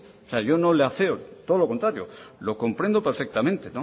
yo no le afeo todo lo contrario lo comprendo perfectamente